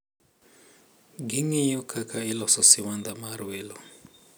Ging`iyo kaka iloso siwandha mar welo.